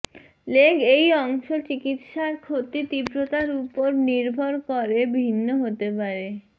leg এই অংশ চিকিত্সার ক্ষতি তীব্রতার উপর নির্ভর করে ভিন্ন হতে পারে